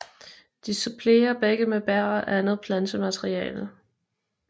De supplerer begge med bær og andet plantemateriale